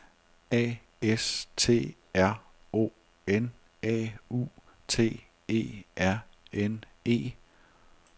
A S T R O N A U T E R N E